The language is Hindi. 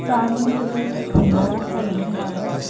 सामने एक बड़ा सा घर बना है।